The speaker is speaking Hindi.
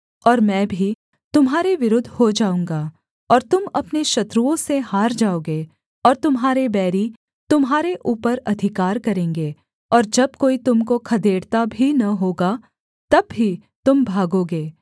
और मैं भी तुम्हारे विरुद्ध हो जाऊँगा और तुम अपने शत्रुओं से हार जाओगे और तुम्हारे बैरी तुम्हारे ऊपर अधिकार करेंगे और जब कोई तुम को खदेड़ता भी न होगा तब भी तुम भागोगे